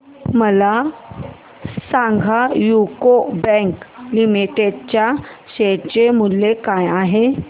सांगा UCO bank limited च्या share चे मूल्य काय आहे